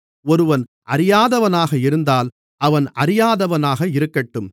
ஒருவன் அறியாதவனாக இருந்தால் அவன் அறியாதவனாக இருக்கட்டும்